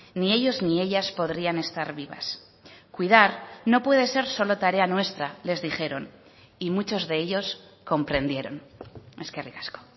ni ellos ni ellas podrían estar vivas cuidar no puede ser solo tarea nuestra les dijeron y muchos de ellos comprendieron eskerrik asko